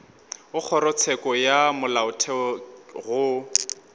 go kgorotsheko ya molaotheo go